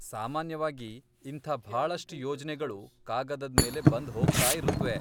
ಸಾಮಾನ್ಯವಾಗಿ, ಇಂಥ ಭಾಳಷ್ಟ್ ಯೋಜ್ನೆಗಳು ಕಾಗದದ್ ಮೇಲೆ ಬಂದ್ ಹೋಗ್ತಾಇರುತ್ವೆ.